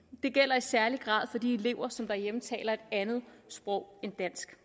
gælder i særlig grad for de elever som derhjemme taler et andet sprog end dansk